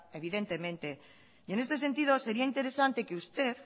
evidentemente y en este sentido sería interesante que usted